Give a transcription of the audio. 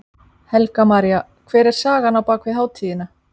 Helga María: Hver er sagan á bakvið hátíðina?